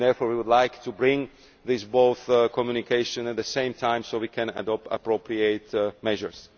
Therefore we would like to bring forward both of these communications at the same time so we can adopt appropriate measures.